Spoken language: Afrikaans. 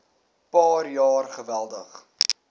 paar jaar geweldig